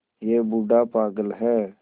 यह बूढ़ा पागल है